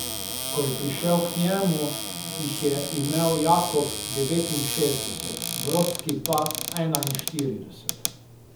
Ko je prišel k njemu, jih je imel Jakob devetinšestdeset, Brodski pa enainštirideset.